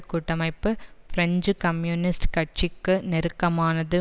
கூட்டமைப்பு French communist கட்சிக்கு நெருக்கமானது